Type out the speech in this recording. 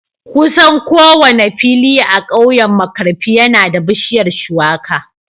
Kusan kowane fili a kauyen Markarfi yana da bishiyar Shuwaka